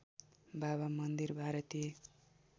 बाबा मन्दिर भारतीय